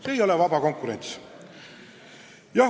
See ei ole vaba konkurents.